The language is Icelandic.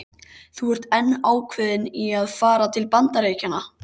Þú ert enn ákveðin í að fara til Bandaríkjanna?